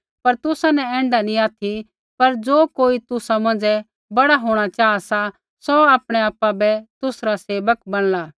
पर तुसा न ऐण्ढा नी ऑथि पर ज़ो कोई तुसा मौंझ़ै बड़ा होंणा चाहा सा सौ आपणै आपा बै तुसरा सेवक बैणला